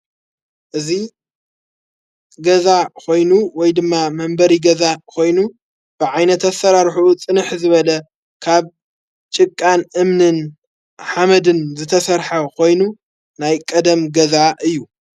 እዙይ ገዛ ኾይኑ ወይ ድማ መንበሪ ገዛ ኾይኑ ብዓይነት ኣሠራርኁኡ ጽንሕ ዝበለ ካብ ጭቃን እምንን ሓመድን ዘተሠርሐ ኾይኑ ናይ ቀደም ገዛ እዩ።